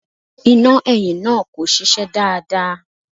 Iná ẹ̀yìn náà kò ṣiṣẹ́ dáadáa.